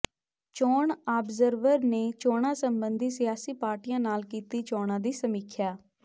ਚੋਣ ਆਬਜ਼ਰਵਰ ਨੇ ਚੋਣਾਂ ਸਬੰਧੀ ਸਿਆਸੀ ਪਾਰਟੀਆਂ ਨਾਲ ਕੀਤੀ ਚੋਣਾਂ ਦੀ ਸਮੀਖਿਆ